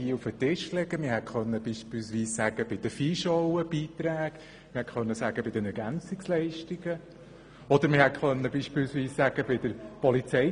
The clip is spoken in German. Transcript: Man hätte beispielsweise auch sagen können, gespart werden soll bei den Beiträgen an die Viehschauen, bei den Ergänzungsleistungen oder beim Polizeikorps.